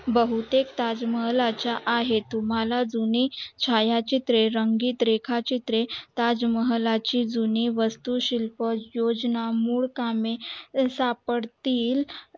बहुतेक ताजमहाल च्या आहेत तुम्हला जुने छाया चित्रे रंगीत रेखा चित्रे ताजमहलाचे चे जुने वस्तू शिल्प योजना मूळ कामे सापडतील